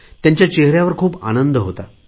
त्यांच्या चेहऱ्यावर खूप आनंद होता